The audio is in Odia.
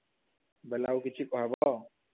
ବେଲେ ଆଉ କିଛି କହବ?